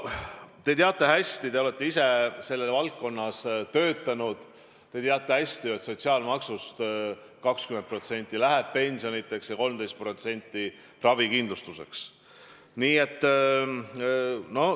Te olete ise selles valdkonnas töötanud ja teate hästi, et sotsiaalmaksust 20% läheb pensionideks ja 13% ravikindlustuseks.